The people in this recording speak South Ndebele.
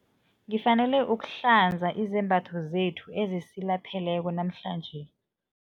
Ngifanele ukuhlanza izembatho zethu ezisilapheleko namhlanje.